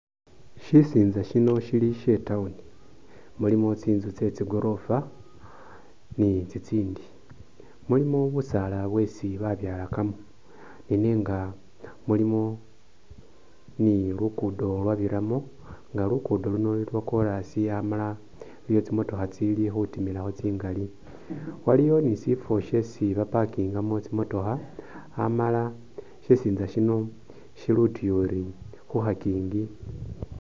Shisinza shino shilo shee town mulimo tsitsu tsetsi gorofa ni tsitsindi mulimo busala bwesi babyalakamo nenenga mulimo ni lugudo lwabiramo nga lugudo luno luli lwa koras amala iliwo tsi’motoka tsi khutimilakho tsingali, waliwo nishifo shesi packigamo tsi’motoka amala shisinza shino shili utyori khukha’kingi.